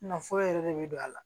Nafolo yɛrɛ de bɛ don a la